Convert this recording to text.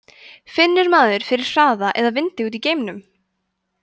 finnur maður fyrir hraða eða vindi úti í geimnum